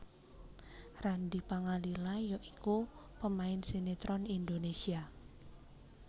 Randy Pangalila ya iku pemain sinetron Indonesia